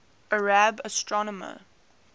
arab astronomers